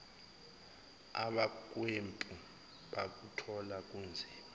abahlwempu bakuthola kunzima